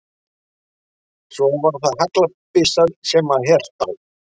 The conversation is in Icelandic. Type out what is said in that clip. Svo var það haglabyssan sem hann hélt á.